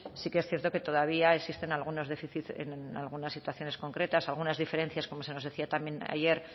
sí que es cierto que todavía existen algunos déficits en algunas situaciones concretas algunas diferencias como se nos decía también ayer